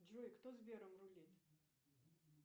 джой кто сбером рулит